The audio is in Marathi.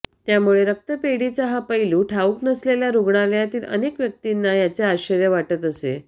त्यामुळे रक्तपेढीचा हा पैलू ठाऊक नसलेल्या रुग्णालयांतील अनेक व्यक्तींना याचे आश्चर्य वाटत असे